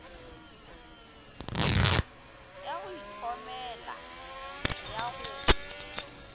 ya go ithomela ya go